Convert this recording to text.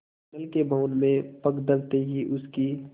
मंडल के भवन में पग धरते ही उसकी